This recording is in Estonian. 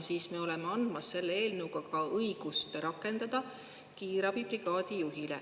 Siis me oleme andmas selle eelnõuga ka õigust rakendada kiirabibrigaadi juhile.